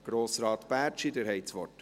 Grossrat Bärtschi, Sie haben das Wort.